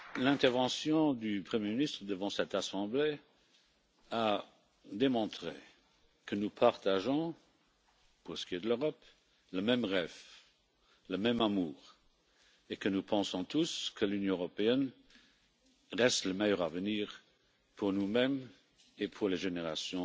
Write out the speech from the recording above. L'intervention du Premier ministre devant cette assemblée a démontré que nous partageons, pour ce qui est de l'Europe, le même rêve, le même amour et que nous pensons tous que l'Union européenne reste le meilleur avenir pour nous mêmes et pour les générations